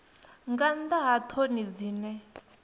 nga nnḓa ha ṱhoni dzine